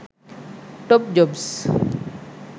top jobs